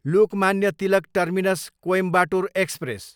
Lokmanya Tilak terminus, Coimbatore express